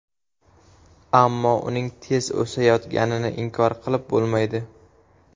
Ammo uning tez o‘sayotganini inkor qilib bo‘lmaydi.